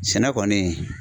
Sɛnɛ kɔni